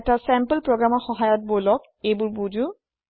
এটা চেম্পল প্ৰোগ্ৰামৰ সহায়ত বলক এইবোৰ বুজো